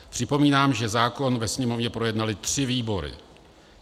Připomínám, že zákon ve Sněmovně projednaly tři výbory.